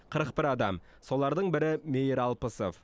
қырық бір адам солардың бірі мейір алпысов